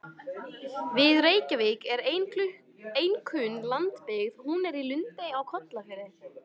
Við Reykjavík er ein kunn lundabyggð, hún er í Lundey á Kollafirði.